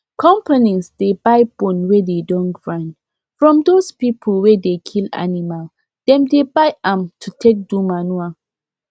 companies dey buy bone wey dey don grind from those people wey dey kill animal them dey buy am to take do manure